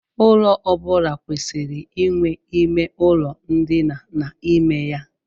Ụlọ ọ bụla kwesịrị inwe ime ụlọ ndina n'ime ya.